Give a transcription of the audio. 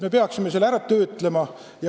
Me peaksime selle ise ära töötlema.